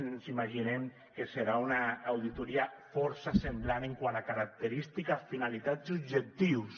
ens imaginem que serà una auditoria força semblant quant a característiques finalitats i objectius